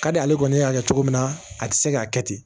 Ka di ale kɔni y'a kɛ cogo min na a tɛ se k'a kɛ ten